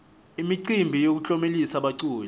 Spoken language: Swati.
imicimbi yokutlomelisa baculi